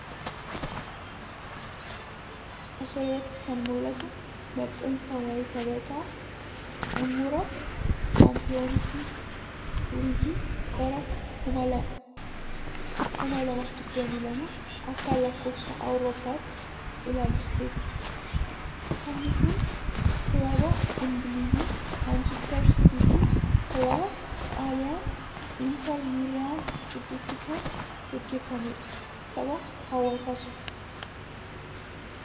As irratti kan mul'atu maxxansa waayee tapha xumuraa shaampiyeensi liigii bara 2022 A.L.A ilaalchiseeti. Taphni kun kilaba Ingiliz Maanchister Sitii fi kilaba Xaaliyaanii Inter Miilaan gidduutti kan geggeeffamee dha. Tapha hawwataa ture.